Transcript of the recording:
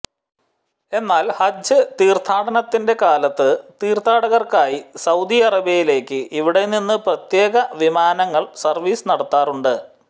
എന്നാൽ ഹജ്ജ് തീർത്ഥാനത്തിൻറെ കാലത്ത് തീർഥാടകർക്കായി സൌദി അറേബ്യയിലേക്ക് ഇവിടെനിന്ന് പ്രത്യേക വിമാനങ്ങൾ സർവ്വീസ് നടത്താറുണ്ട്